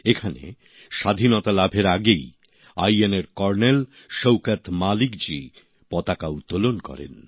এখানে স্বাধীনতা লাভের আগেই আইএনএর কর্নেল শৌকত মালিকজী পতাকা উত্তোলন করেন